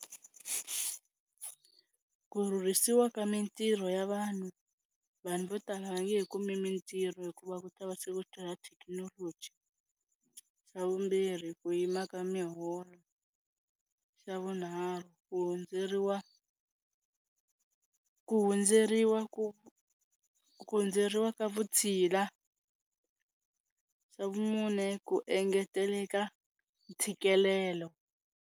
Ku rhurhisiwa ka mintirho ya vanhu vanhu vo tala va nge he kumi mintirho hikuva ku ta va se ku thekinoloji, xa vumbirhi ku yima ka miholo, xa vunharhu ku hundzeriwe ku hundzeriwa ku ku hundzeriwa ka vutshila, xa vumune ku engeteleka ntshikelelo.